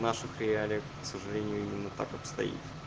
наших реалиях сожалению именно так обстоит